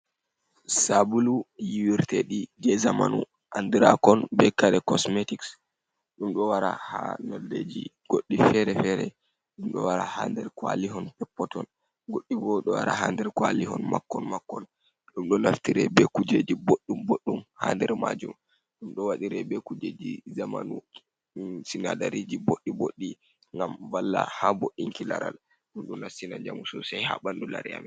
Sabulu yiwirteɗi je zamanu andirakon be kare cosmetics, ɗum ɗo wara ha noldeji goɗɗi fere-fere, ɗum ɗo wara ha nder kwalihon peppoton goɗɗi bo ɗo wara ha nder kwalihon makon makon, ɗum ɗo naftire be kujeji boɗɗum boddumy ha nder majum, ɗum ɗo waɗire be kujeji zamanu, sinadariji boɗɗi boɗɗi ngam vala ha bo in ki laral, ɗum ɗo nastina jamu sosai ha ɓandu lare amin.